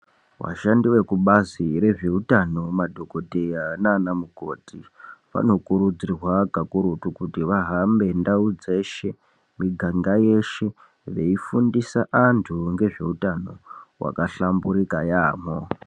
Vashandi vekubazi rezveutano madhokodheya nanamukoti vanokurudzirwa kakurutu kuti vahambe ndau dzeshe miganga yeshe veifundisa antu ngezveutano hwakahlamburuka yaamho .